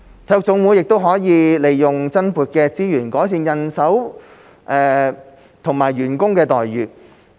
體育總會亦可利用增撥的資源改善人手和員工待遇。